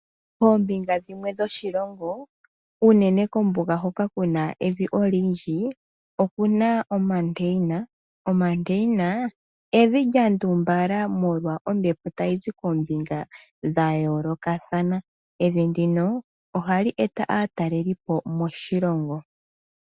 Koombinga dhimwe dhoshilongo unene kombuga hoka kuna evi olindji okuna omandeina. Omandeina evi lya ndumbala molwa ombepo tayi zi koombinga dha yoolokathana. Evi ndino ohali eta aatalelipo moshilongo.